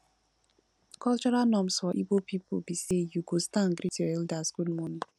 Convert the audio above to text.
cultural norms for igbo pipo bi say yu go stand greet yur elder good morning